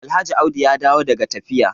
Alhaji audi ya dawo daga tafiya